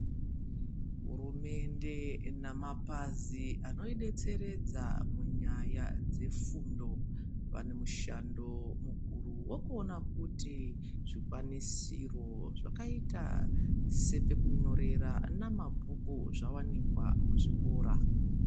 Hurumende namapazi anoidetseredza munyaya dzefundo, vane mushando mukuru wekuona kuti zvikwanisiro vakaita sepekunyorera, namabhuku zvawanikwa muzvikora.